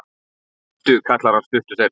Bíddu, kallar hann stuttu seinna.